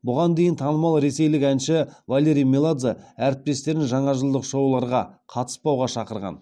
бұған дейін танымал ресейлік әнші валерий меладзе әріптестерін жаңажылдық шоуларға қатыспауға шақырған